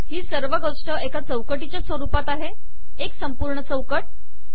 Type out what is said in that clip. ही सर्व गोष्ट एका चौकटीच्या स्वरूपात आहे एक संपूर्ण चौकट